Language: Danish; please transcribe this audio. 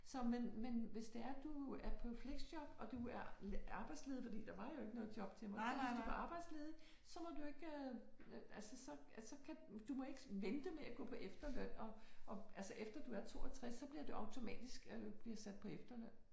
Så men men hvis det er du er på fleksjob og du er arbejdsledig fordi der var jo ikke noget job til mig hvis du var arbejdsledig så må du ikke altså så så kan du må ikke vente med at gå på efterløn og og altså efter du er 62 så bliver det automatisk øh bliver sat på efterløn